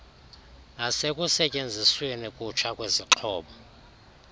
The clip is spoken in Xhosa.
nasekusetyenzisweni kutsha kwezixhobo